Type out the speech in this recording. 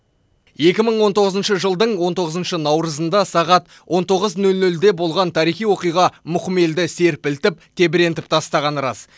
екі мың он тоғызыншы жылдың он тоғызыншы наурызында сағат он тоғыз нөл нөлде болған тарихи оқиға мұқым елді серпілтіп тебірентіп тастағаны рас